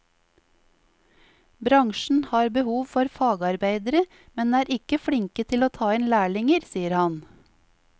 Bransjen har behov for fagarbeidere, men er ikke flinke til å ta inn lærlinger, sier han.